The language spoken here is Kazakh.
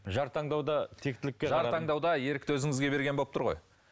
жар таңдауда тектілік жар таңдауда ерікті өзіңізге берген болып тұр ғой